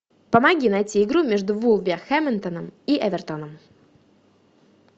помоги найти игру между вулверхэмптоном и эвертоном